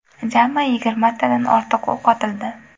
Jami yigirmatadan ortiq o‘q otildi.